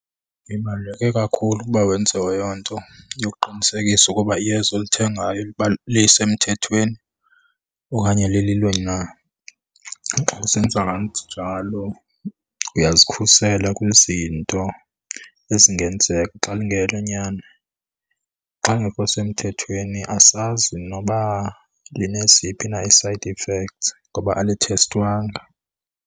Ibaluleke kakhulu ukuba wenze eyo nto yokuqinisekisa ukuba iyeza olithengayo lisemthethweni okanye lililo na. Xa usenza kanjalo uyazikhusela kwizinto ezingenzeka. Xa lingelonyani, xa lingekho semthethweni asazi noba lineziphi na ii-side effects ngoba alithestwanga.